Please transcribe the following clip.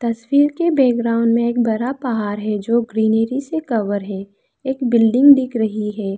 तस्वीर के बैकग्राउंड में एक बड़ा पहाड़ है जो ग्रीनरी से कभर है एक बिल्डिंग दिख रही है।